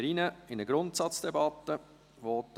Somit steigen wir in eine Grundsatzdebatte ein.